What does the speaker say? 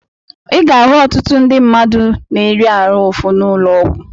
I ga-ahụ ọtụtụ ndị mmadụ na-eri ahụ ụfụ n'ụlọ ọgwụ.